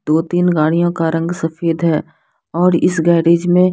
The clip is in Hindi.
दो तीन गाड़ियों का रंग सफेद है और इस गॅरेज मे--